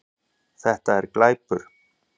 Þetta er glæpur